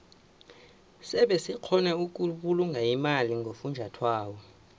sebe sikgona ukubulunga imali ngofunjathwako